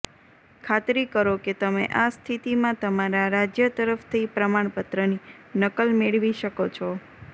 ખાતરી કરો કે તમે આ સ્થિતિમાં તમારા રાજ્ય તરફથી પ્રમાણપત્રની નકલ મેળવી શકો છો